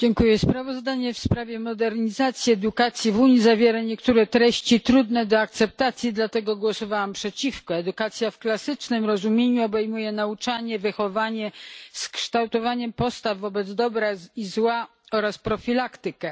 Panie Przewodniczący! Sprawozdanie w sprawie modernizacji edukacji w Unii zawiera niektóre treści trudne do akceptacji. Dlatego głosowałam przeciwko. Edukacja w klasycznym rozumieniu obejmuje nauczanie, wychowanie z kształtowaniem postaw wobec dobra i zła oraz profilaktykę.